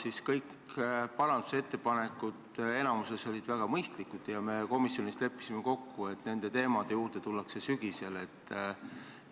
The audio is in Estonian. Enamik parandusettepanekuid olid väga mõistlikud ja me komisjonis leppisime kokku, et nende küsimuste juurde tuleme sügisel tagasi.